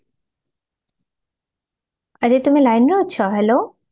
ଆରେ ତମେ line ରେ ଅଛ hello